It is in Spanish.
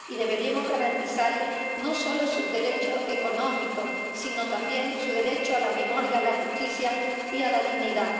Deberíamos garantizarles no solo sus derechos económicos, sino también su derecho a la memoria, a la justicia y a la dignidad.